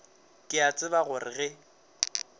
ke a tseba gore ge